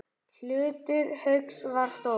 Hlutur Hauks var stór.